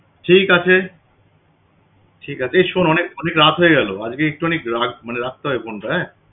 ঠিক আছে ঠিক আছে, এই শোন অনেক অনেক রাত হয়ে গেল। আজকে একটু অনেক রাগ~ মানে রাখতে হয় phone টা